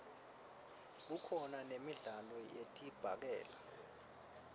kukhona nemidlalo yedibhakela